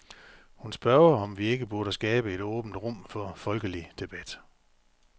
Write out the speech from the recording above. Hun spørger, om vi ikke burde skabe et åbent rum for folkelig debat.